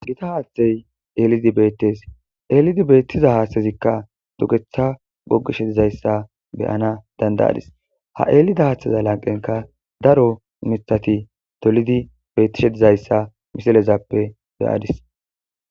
Gita haathey eellidi beetees. Eellidi beetiza haathezika duge gogeges. Ha eelida miththa lanqenika daro mithati dolidi beetishe dizaysa misilezappe be'adis.